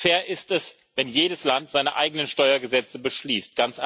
Fair ist es, wenn jedes Land seine eigenen Steuergesetze beschließt.